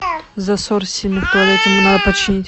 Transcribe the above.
засор сильный в туалете мне надо починить